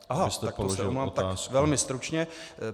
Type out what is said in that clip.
Aha, tak to se omlouvám, tak velmi stručně.